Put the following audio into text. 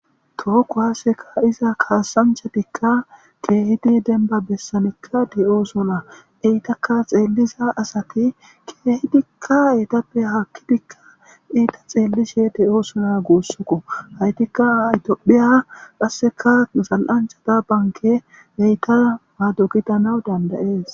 tookko haaseka iza kaasanchadikka keehidi denba bessanikka de7o sona eytakka xeelliza asati keehidikka eetappe hakkidikka iita xeellishe de7o sona guussukko haytikka aytpphiya qasseka nusal7anchata banke beyta maadokitana dandayees